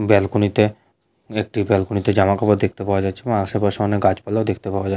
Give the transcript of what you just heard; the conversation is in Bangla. ব্যালকনি তে একটি ব্যালকনি তে জামা কাপড় দেখতে পাওয়া যাচ্ছে এবং আশেপাশে অনেক গাছপালাও দেখতে পাওয়া যা --